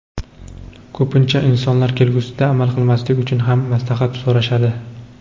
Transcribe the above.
Ko‘pincha insonlar kelgusida amal qilmaslik uchun ham maslahat so‘rashadi.